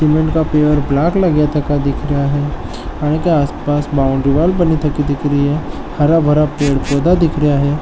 सीमेंट का पेड़ ब्लैक लगेतका दिख रेया है अन के आसपास बॉउंड्री वॉल बनि तकी दिख रई है हराभरा पेड़ पौधा दिख रेया है।